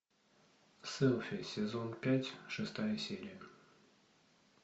селфи сезон пять шестая серия